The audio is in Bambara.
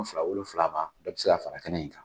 Fila wolonfila ma a ti se ka fara kɛnɛ in kan.